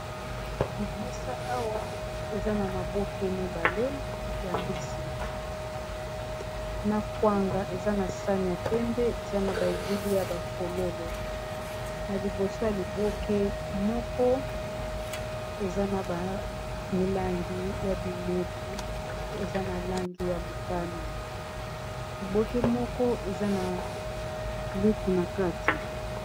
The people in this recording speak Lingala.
Na mesa awa eza na maboke mibale ya mbisi na kwanga eza na sani ya pembe eza na ba elili ya ba fololo na liboso ya liboke moko eza na ba milangi ya bimeli eza na langi ya motani, liboke moko eza na lutu na kati.